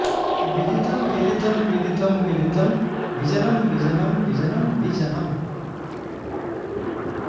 विदितं विदितं विदितं विदितं विजनं विजनं विजनं विजनम्